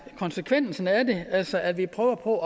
konsekvensen af det altså at vi prøver på at